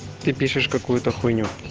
ты пишешь какую-то хуйню